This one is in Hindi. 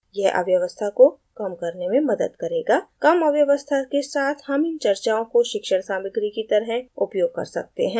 यह अव्यवस्था को कम करने में मदद करेगा कम अव्यवस्था के साथ हम इन चर्चाओं को शिक्षण सामग्री की तरह उपयोग कर सकते हैं